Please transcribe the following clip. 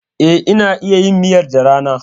E, na iya yin miyar da rana.